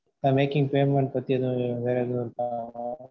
mam making payment பத்தி எதும் வேற எதும் இருக்கா?